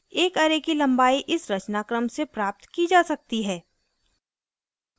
एक array की लम्बाई इस रचनाक्रम से प्राप्त की जा सकती है: